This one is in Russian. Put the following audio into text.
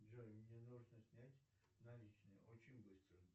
джой мне нужно снять наличные очень быстро